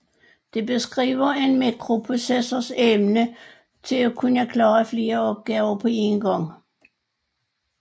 Det beskriver en microprocessors evne til at kunne klare flere opgaver på én gang